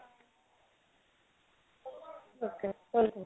okay thank you